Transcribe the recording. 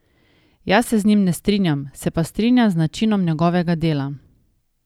Jaz se z njim ne strinjam, se pa strinjam z načinom njegovega dela.